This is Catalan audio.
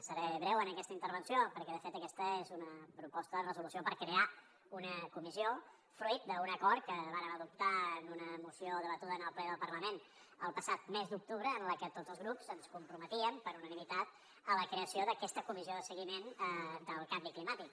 seré breu en aquesta intervenció perquè de fet aquesta és una proposta de resolució per crear una comissió fruit d’un acord que vàrem adoptar en una moció debatuda en el ple del parlament el passat mes d’octubre en la que tots els grups ens comprometíem per unanimitat a la creació d’aquesta comissió de seguiment del canvi climàtic